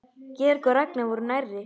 Georg og Ragnar voru nærri.